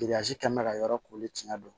kɛmɛ bɛ ka yɔrɔ koori tiɲɛ don